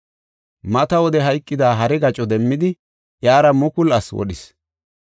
Mata wode hayqida hare gaco demmidi, iyara mukulu asi wodhis.